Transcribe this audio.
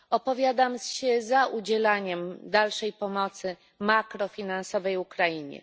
Opowiadam się za udzielaniem dalszej pomocy makrofinansowej Ukrainie.